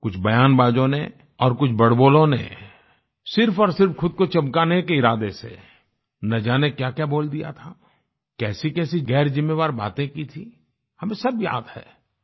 कुछ बयानबाजों ने और कुछ बड़बोलों ने सिर्फ और सिर्फ खुद को चमकाने के इरादे से न जाने क्याक्या बोल दिया था कैसीकैसी गैर ज़िम्मेवार बातें की थी हमें सब याद है